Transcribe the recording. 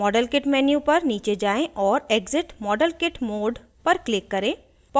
model kit menu पर नीचे जाएँ और exit model kit mode पर click करें